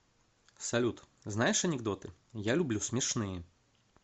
салют знаешь анекдоты я люблю смешные